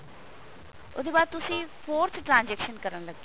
ਉਹਦੇ ਬਾਅਦ ਤੁਸੀਂ forth transaction ਕਰਨ ਲੱਗੇ ਹੋ